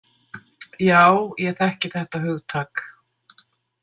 Já, ég þekki þetta hugtak.